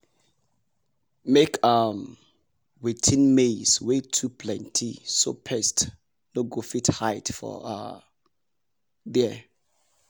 make um we thin maize wey too plenty so pest no go fit hide for um there.